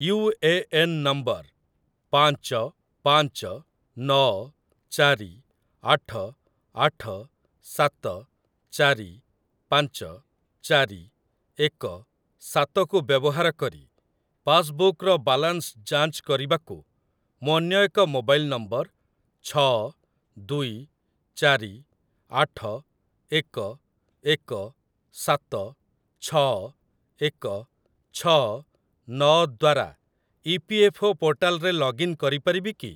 UAN number ପାଞ୍ଚ ପାଞ୍ଚ ନଅ ଚାରି ଆଠ ଆଠ ସାତ ଚାରି ପାଞ୍ଚ ଚାରି ଏକ ସାତ କୁ ବ୍ୟବହାର କରି ପାସ୍‌ବୁକ୍‌ର ବାଲାନ୍ସ ଯାଞ୍ଚ କରିବାକୁ ମୁଁ ଅନ୍ୟ ଏକ ମୋବାଇଲ୍ ନମ୍ବର ଛଅ ଦୁଇ ଚାରି ଆଠ ଏକ ଏକ ସାତ ଛଅ ଏକ ଛଅ ନଅ ଦ୍ଵାରା ଇପିଏଫ୍ଓ ପୋର୍ଟାଲ୍‌‌ରେ ଲଗ୍ଇନ୍ କରିପାରିବି କି?